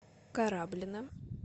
кораблино